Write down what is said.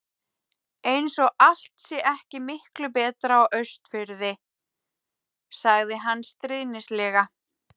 Eins og allt sé ekki miklu betra á Austurfirði. sagði hann stríðnislega.